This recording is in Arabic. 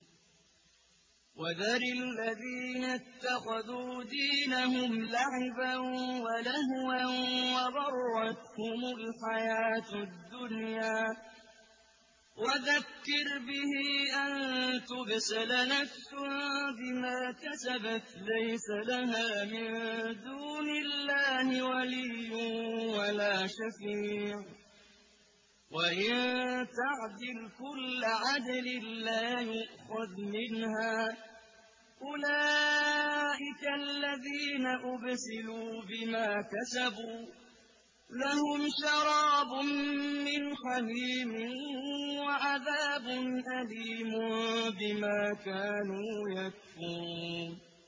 وَذَرِ الَّذِينَ اتَّخَذُوا دِينَهُمْ لَعِبًا وَلَهْوًا وَغَرَّتْهُمُ الْحَيَاةُ الدُّنْيَا ۚ وَذَكِّرْ بِهِ أَن تُبْسَلَ نَفْسٌ بِمَا كَسَبَتْ لَيْسَ لَهَا مِن دُونِ اللَّهِ وَلِيٌّ وَلَا شَفِيعٌ وَإِن تَعْدِلْ كُلَّ عَدْلٍ لَّا يُؤْخَذْ مِنْهَا ۗ أُولَٰئِكَ الَّذِينَ أُبْسِلُوا بِمَا كَسَبُوا ۖ لَهُمْ شَرَابٌ مِّنْ حَمِيمٍ وَعَذَابٌ أَلِيمٌ بِمَا كَانُوا يَكْفُرُونَ